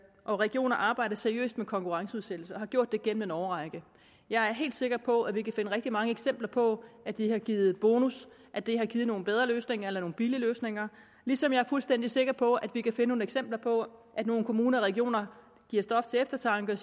og regioner arbejder seriøst med konkurrenceudsættelse og har gjort det gennem en årrække jeg er helt sikker på at vi kan finde rigtig mange eksempler på at det har givet bonus at det har givet nogle bedre løsninger eller nogle billigere løsninger ligesom jeg er fuldstændig sikker på at vi kan finde nogle eksempler på at nogle kommuner og regioner stof til eftertanke og